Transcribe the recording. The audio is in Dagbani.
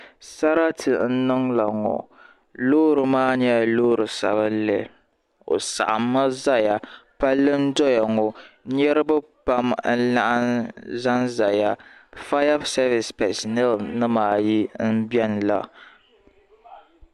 Sarati n niŋ la ŋɔ loori maa nyɛla loori sabinli o saɣimmi zaya palli n doya ŋɔ niriba pam n laɣim zanzaya fayasevis pɛsineli nima ayi m biɛni la.